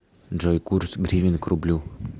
джой курс гривен к рублю